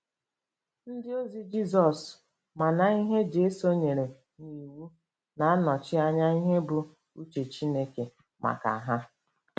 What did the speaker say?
Ndịozi Jizọs ma na ihe Jesu nyere n’iwu na-anọchi anya ihe bụ́ uche Chineke maka ha.